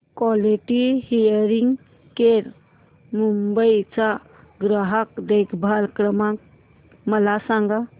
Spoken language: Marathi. क्वालिटी हियरिंग केअर मुंबई चा ग्राहक देखभाल क्रमांक मला सांगा